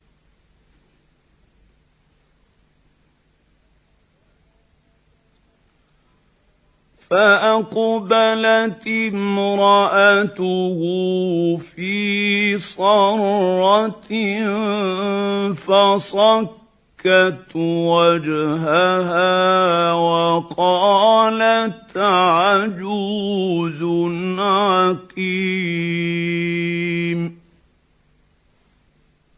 فَأَقْبَلَتِ امْرَأَتُهُ فِي صَرَّةٍ فَصَكَّتْ وَجْهَهَا وَقَالَتْ عَجُوزٌ عَقِيمٌ